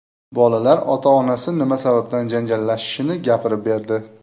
Bolalar ota-onasi nima sababdan janjallashishini gapirib berdi .